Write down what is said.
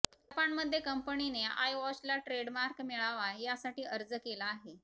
जपानमध्ये कंपनीने आयवॉचला ट्रेडमार्क मिळावा यासाठी अर्ज केला आहे